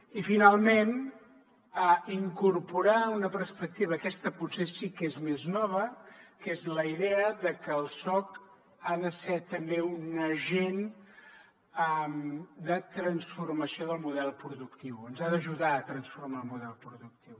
i finalment incorporar una perspectiva aquesta potser sí que és més nova que és la idea de que el soc ha de ser també un agent de transformació del model productiu ens ha d’ajudar a transformar el model productiu